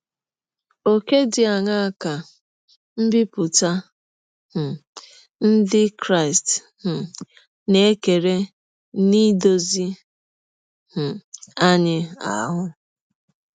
Ọ̀kè dị aṅaa ka mbipụta um ndị Krịsti um na - ekere n’idọzi um anyị ahụ?